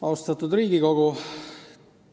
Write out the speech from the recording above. Austatud Riigikogu!